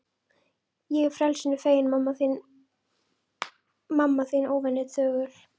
Ég frelsinu feginn, mamma þín óvenju þögul.